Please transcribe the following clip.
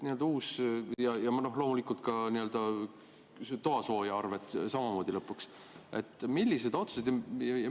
Ja loomulikult samamoodi ka toasooja arved.